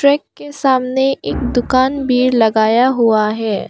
Track के सामने एक दुकान भी लगाया हुआ है।